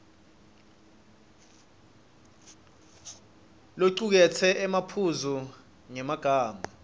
locuketse emaphuzu ngemagama